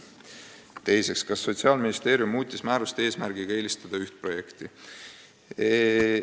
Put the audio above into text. Teiseks: "Kas Sotsiaalministeerium muutis määrust eesmärgiga eelistada üht projekti?